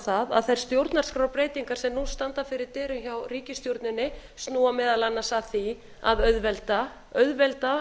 það að þær stjórnarskrárbreytingar sem nú standa fyrir dyrum hjá ríkisstjórninni snúa meðal annars að því að auðvelda